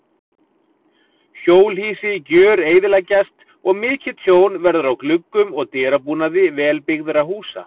Hjólhýsi gjöreyðileggjast og mikið tjón verður á gluggum og dyrabúnaði vel byggðra húsa.